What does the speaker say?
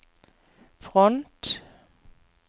front